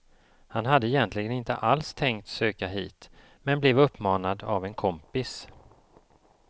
Han hade egentligen inte alls tänkt söka hit, men blev uppmanad av en kompis.